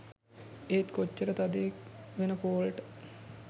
ඒත් කොච්චර තදයෙක් වෙන පෝල්ට